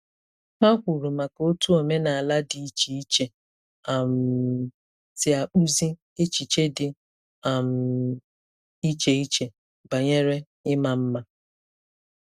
Ha kwuru maka otu omenala dị iche iche um si akpụzi echiche dị um iche iche banyere ịma mma.